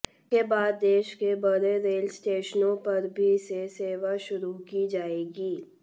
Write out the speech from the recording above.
इसके बाद देश के बड़े रेल स्टेशनों पर भी से सेवा शुरू की जाएगी